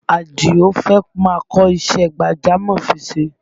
Àdìó fẹ́ máa kọ́ṣẹ́ gbàjámọ̀ ṣíṣe